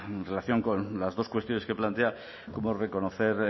en relación con las dos cuestiones que plantea cómo reconocer